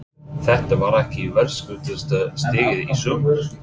Þetta var ekki verðskuldaðasta stigið í sumar?